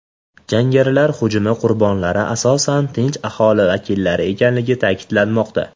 Jangarilar hujumi qurbonlari asosan tinch aholi vakillari ekanligi ta’kidlanmoqda.